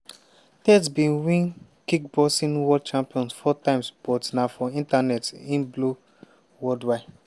tate bin win kickboxing world champion four times but na for internet e blow worldwide.